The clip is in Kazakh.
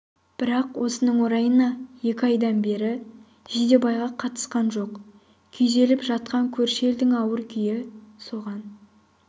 бірақ осының орайына екі айдан бері жидебайға қатынасқан жоқ күйзеліп жатқан көрші елдің ауыр күйі соған